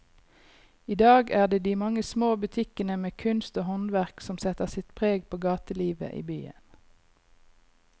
I dag er det de mange små butikkene med kunst og håndverk som setter sitt preg på gatelivet i byen.